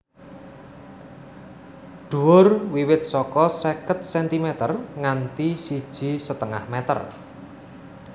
Dhuwur wiwit saka seket sentimer nganti siji setengah meter